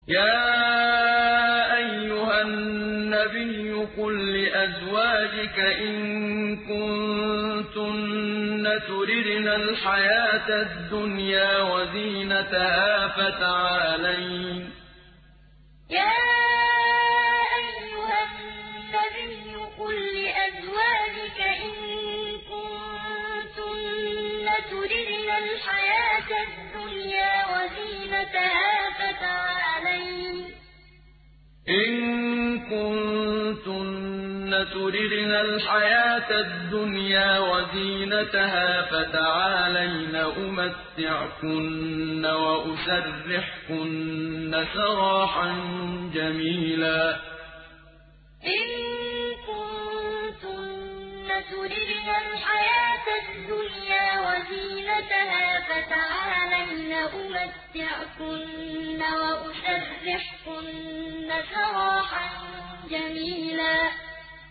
يَا أَيُّهَا النَّبِيُّ قُل لِّأَزْوَاجِكَ إِن كُنتُنَّ تُرِدْنَ الْحَيَاةَ الدُّنْيَا وَزِينَتَهَا فَتَعَالَيْنَ أُمَتِّعْكُنَّ وَأُسَرِّحْكُنَّ سَرَاحًا جَمِيلًا يَا أَيُّهَا النَّبِيُّ قُل لِّأَزْوَاجِكَ إِن كُنتُنَّ تُرِدْنَ الْحَيَاةَ الدُّنْيَا وَزِينَتَهَا فَتَعَالَيْنَ أُمَتِّعْكُنَّ وَأُسَرِّحْكُنَّ سَرَاحًا جَمِيلًا